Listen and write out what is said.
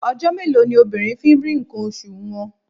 Ọjọ́ mélòó ni obìnrin fi ń rí ǹkan oṣù wọn?